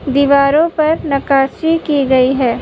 दीवारों पर नक्काशी की गई है।